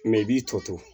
Mɛ i b'i to to